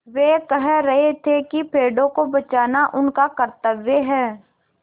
वे कह रहे थे कि पेड़ों को बचाना उनका कर्त्तव्य है